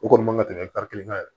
O kɔni man ka tɛmɛ kelen kan yɛrɛ